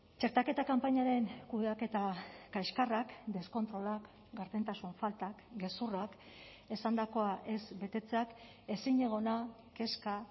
txertaketa kanpainaren kudeaketa kaskarrak deskontrolak gardentasun faltak gezurrak esandakoa ez betetzeak ezinegona kezka